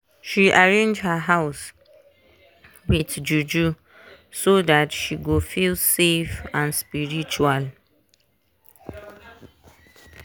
she arrange her house with juju so that she go feel safe and spritual.